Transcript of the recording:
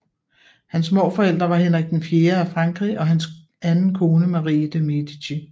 Hans morforældre var Henrik IV af Frankrig og hans anden kone Marie de Medici